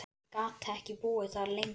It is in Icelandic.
Ég gat ekki búið þar lengur.